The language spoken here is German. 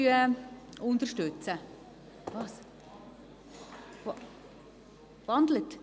Ja, ich habe den Vorstoss in ein Postulat gewandelt.